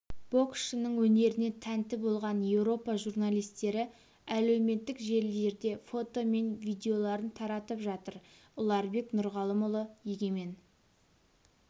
боксшының өнеріне тәнті болған еуропа журналистері әлеуметтік желілерде фото мен видеоларын таратып жатыр ұларбек нұрғалымұлы егемен